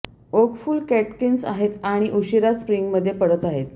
okay फुलं catkins आहेत आणि उशीरा स्प्रिंगमध्ये पडत आहेत